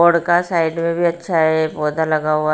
Side मैं भी अच्छा हैं पौधा लगा हुआ हैं।